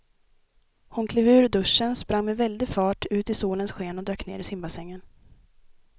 Hon klev ur duschen, sprang med väldig fart ut i solens sken och dök ner i simbassängen.